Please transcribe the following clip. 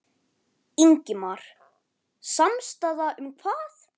Ingimar: Samstaða um hvað?